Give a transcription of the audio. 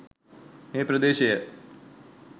මේ ප්‍රදේශය